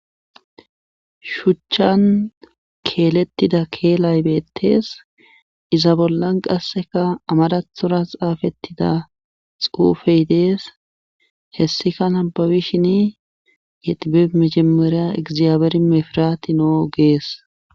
shuchchan keelettida keelay beettees iza bollan qasseka amadathura xaafettida xuufey dees hessika hababishin yexibe mejemereya egzaabeeri mefiraati noo gees